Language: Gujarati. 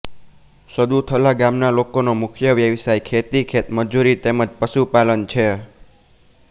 સદુથલા ગામના લોકોનો મુખ્ય વ્યવસાય ખેતી ખેતમજૂરી તેમ જ પશુપાલન છે